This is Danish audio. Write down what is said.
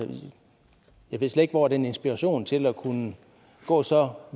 jeg ved slet ikke hvor den inspiration til at kunne gå så